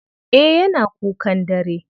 Eh yana kukan dare.